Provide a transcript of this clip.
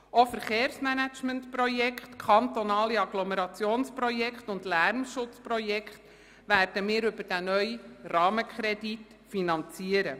So werden wir auch Verkehrsmanagementprojekte, kantonale Agglomerationsprojekte und Lärmschutzprojekte über diesen neuen Rahmenkredit finanzieren.